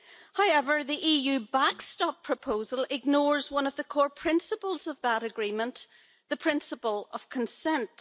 However, the EU backstop proposal ignores one of the core principles of that agreement the principle of consent.